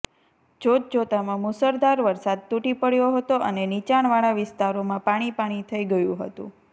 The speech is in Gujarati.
જોત જોતામાં મુશળધાર વરસાદ તુટી પડયો હતો અને નીચાણવાળા વિસ્તારોમાં પાણી પાણી થઇ ગયું હતું